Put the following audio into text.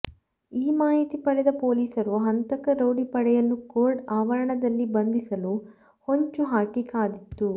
ಈ ಮಾಹಿತಿ ಪಡೆದ ಪೋಲಿಸರು ಹಂತಕ ರೌಡಿ ಪಡೆಯನ್ನು ಕೋರ್ಟ್ ಆವರಣದಲ್ಲಿ ಬಂಧಿಸಲು ಹೊಂಚು ಹಾಕಿ ಕಾದಿತ್ತು